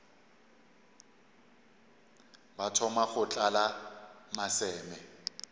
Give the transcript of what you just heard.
ba thoma go tlala maseme